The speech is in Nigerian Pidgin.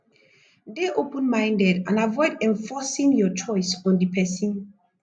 dey open minded and avoid enforcing your own choice on di person